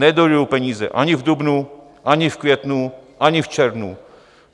Nedojdou peníze ani v dubnu, ani v květnu, ani v červnu.